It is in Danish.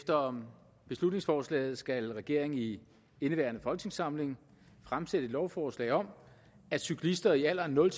efter beslutningsforslaget skal regeringen i indeværende folketingssamling fremsætte et lovforslag om at cyklister i alderen nul